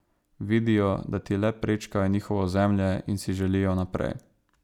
Vidijo, da ti le prečkajo njihovo ozemlje in si želijo naprej.